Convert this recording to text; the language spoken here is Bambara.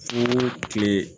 Fo kile